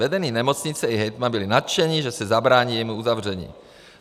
Vedení nemocnice i hejtman byli nadšeni, že se zabrání jejímu uzavření.